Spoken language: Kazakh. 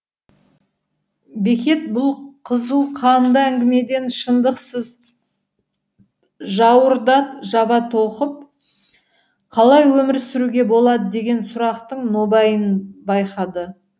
бекет бұл қызуқанды әңгімеден шындықсыз жауырды жаба тоқып қалай өмір суруге болады деген сұрақтың нобайын байқады